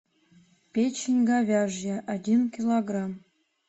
печень говяжья один килограмм